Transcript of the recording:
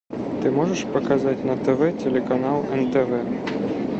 ты можешь показать на тв телеканал нтв